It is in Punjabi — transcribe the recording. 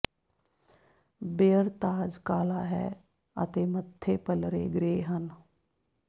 ਬੇਅਰ ਤਾਜ ਕਾਲਾ ਹੈ ਅਤੇ ਮੱਥੇ ਪੱਲਰੇ ਗ੍ਰੇ ਹਨ